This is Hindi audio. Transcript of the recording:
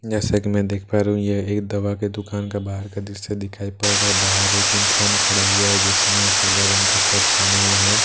जैसा की मैं देख पा रहा हूँ यह एक दवा की दुकान के बाहर का दृश्य दिखाई पड़ रहा है बाहर एक इंसान खड़ा हुआ है जिसने सादा रंग का शर्ट पेहना हुआ है।